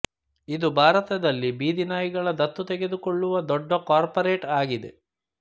ಇದು ಭಾರತದಲ್ಲಿ ಬೀದಿ ನಾಯಿಗಳ ದತ್ತು ತೆಗೆದುಕೊಳ್ಳುವ ದೊಡ್ಡ ಕಾರ್ಪೊರೇಟ್ ಆಗಿದೆ